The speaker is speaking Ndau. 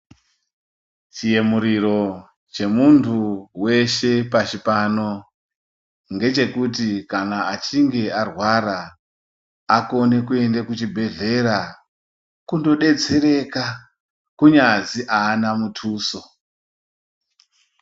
Chiyemuriro chemuntu veshe pashi pano. Ngechekuti kana achinge arwara akone kuende kuchibhedhlera, kundobetsereka kunyazi haana mutuso.